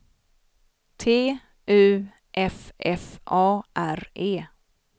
T U F F A R E